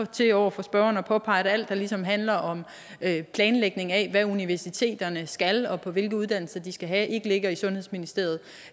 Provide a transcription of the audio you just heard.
til over for spørgeren at påpege at alt der ligesom handler om planlægning af hvad universiteterne skal og hvilke uddannelser de skal have ikke ligger i sundhedsministeriet